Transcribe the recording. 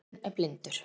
heimurinn er blindur